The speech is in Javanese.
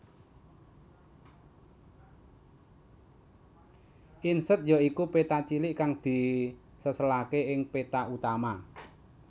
Inset ya iku péta cilik kang diseselaké ing peta utama